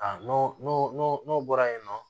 A n'o n'o n'o n'o bɔra yen nɔ